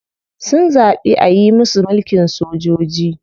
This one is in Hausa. Sun zaɓi ayi musu mulkin sojoji.